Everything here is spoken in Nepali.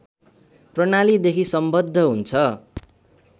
प्रणालीदेखि सम्बद्ध हुन्छ